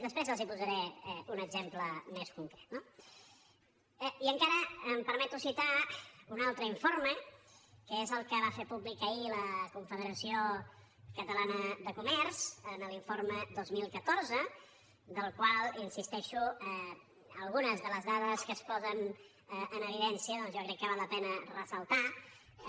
després els en posaré un exemple més concret no i encara em permeto citar un altre informe que és el que va fer públic ahir la confederació catalana de comerç en l’informe dos mil catorze del qual hi insisteixo algunes de les dades que es posen en evidència doncs jo crec que val la pena ressaltar les